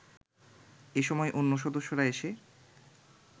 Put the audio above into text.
এ সময় অন্য সদস্যরা এসে